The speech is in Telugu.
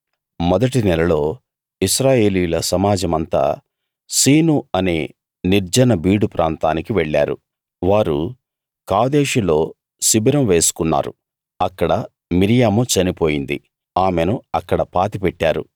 మొదటి నెలలో ఇశ్రాయేలీయుల సమాజమంతా సీను అనే నిర్జన బీడు ప్రాంతానికి వెళ్ళారు వారు కాదేషులో శిబిరం వేసుకున్నారు అక్కడ మిర్యాము చనిపోయింది ఆమెను అక్కడ పాతిపెట్టారు